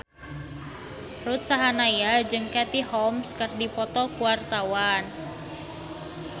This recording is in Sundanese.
Ruth Sahanaya jeung Katie Holmes keur dipoto ku wartawan